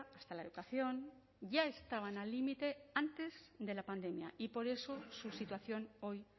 hasta la educación ya estaban al límite antes de la pandemia y por eso su situación hoy